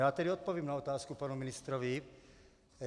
Já tedy odpovím na otázku panu ministrovi.